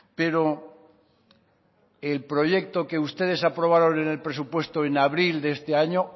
pero el proyecto que ustedes aprobaron en el presupuesto en abril de este año